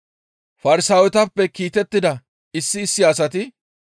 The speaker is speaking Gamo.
Farsaawetappe kiitettida issi issi asati,